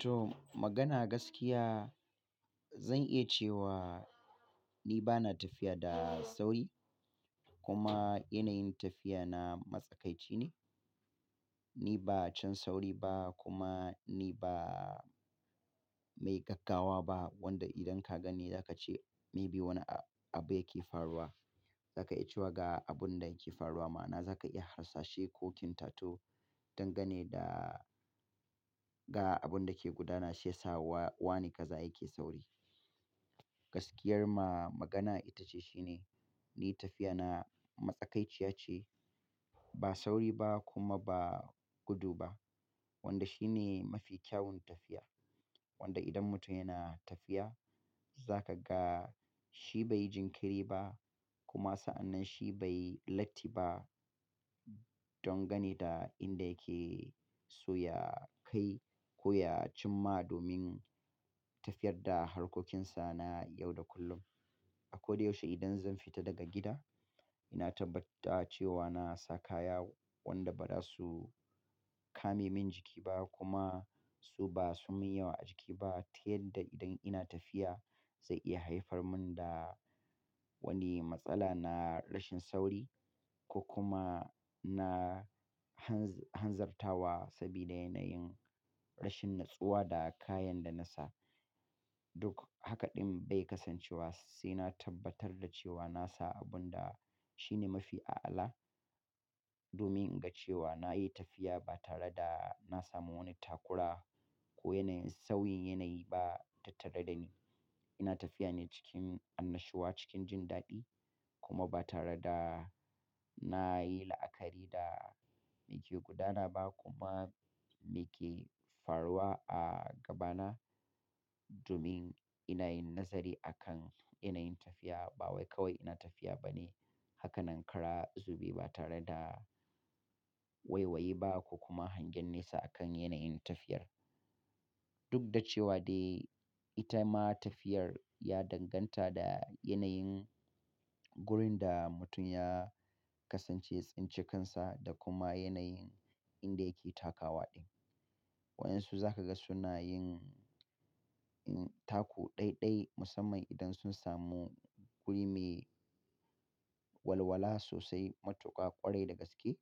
To magana gaskiya, zan iya cewa ni bana tafiya da sauri, kuma yanayin tafiya na matsakaici ne. Ni ba cin sauri ba kuma ni ba mai gaggawa ba, wanda idan ka gani za ka ce maybe wani abu yake faruwa. Za ka iya cewa ga abun da yake faruwa ma, na za ka iya harsashe ko tintato don gane da ga abun da ke gudana shiyasa wa-wane kaza yake sauri. Gaskiyar ma magana ita ce shine, ni tafiya na matsakaiciya ce, ba sauri ba kuma ba gudu ba. Wanda shi ne mafi kyawun tafiya. Wanda idan mutum yana tafiya, za ka ga shi bai yi jinkiri ba, kuma sa'annan shi bai latti ba don gane da inda yake so ya kai, ko ya cimma domin tafiyar da harkokinsa na yau da kullum. A ko da yaushe idan zan fita daga gida, ina tabbata cewa na sa kaya wanda ba za su kame min jiki ba, kuma su ba su min yawa a jiki ba ta yadda idan ina tafiya zai iya haifar min da wani matsala na rashin sauri ko kuma na han-hanzartawa sabida yanayin rashin natsuwa da kayan da na sa. Duk haka ɗin bai kasancewa sai na tabbatar da cewa na sa abun da shi ne mafi a'ala domin in ga cewa na yi tafiya ba tare da na samu wani takura ko yanayin sawin yanayi ba tattare da ni. Ina tafiya ne cikin annashuwa, cikin jin daɗi kuma ba tare da na yi la'akari da me ke gudana ba kuma me ke faruwa a gabana domin ina yin nazari a kan yanayin tafiya. Ba wai kawai ina tafiya ba ne. Haka nan kara zube ba tare da waiwaye ba ko kuma hangen nesa a kan yanayin tafiyar. Duk da cewa dai ita ma tafiyar ya danganta da yanayin gurin da mutum ya kasance, tsinci kansa da kuma yanayin inda yake takawa din. Waɗansu za ka ga suna yin, yin tako ɗaiɗai musamman idan sun samu wurin me walwala sosai, matuƙa ƙwarai da gaske.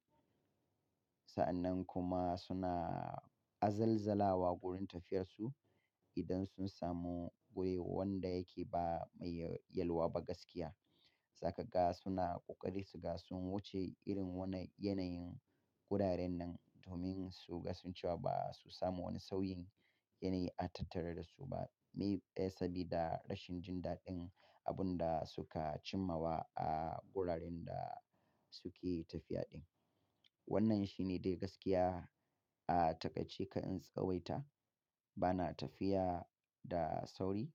Sa'annan kuma suna azalzala wa wurin tafiyarsu idan sun samu wuri wanda yake ba mai yalwa ba gaskiya. Za ka ga suna ƙoƙari su ga sun wuce irin wannan yanayin gudarin nan, domin su gaskincewa ba su samu wani sawin yanayi a tattare da su ba. Maybe, eh sabida rashin jin daɗin abun da suka cimmawa a guraren da suke tafiya din. Wannan shi ne dai gaskiya. A takaicece, ka'in tsawaita, bana tafiya da sauri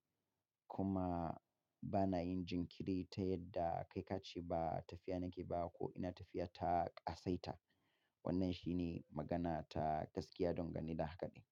kuma bana yin jinkiri ta yadda kai ka ce ba tafiya nake ba ko ina tafiya ta ƙasaita. Wannan shi ne magana ta gaskiya don gane da hakaɗin.